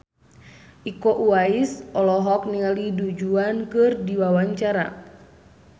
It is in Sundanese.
Iko Uwais olohok ningali Du Juan keur diwawancara